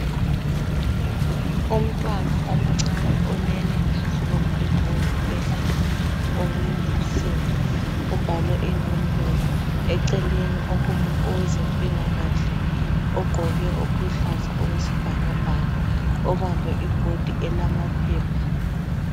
Umntwana omncane olele phezu kombheda, wesibhedlela olezinsimbi obhalwe inombolo, eceleni okume owezempilakahle ogqoke okuluhlaza okwesibhakabhaka ubambe ibhodi elamaphepha.